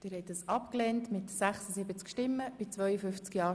Abstimmung (Art. 42 Abs. 1; Antrag FiKo-Minderheit)